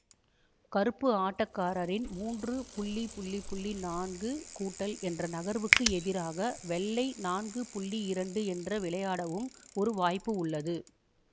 கருப்பு ஆட்டக்காரரின் மூன்று புள்ளி புள்ளி புள்ளி நான்கு கூட்டல் என்ற நகர்வுக்கு எதிராக வெள்ளை நான்கு புள்ளி இரண்டு என்று விளையாடவும் ஒரு வாய்ப்பு உள்ளது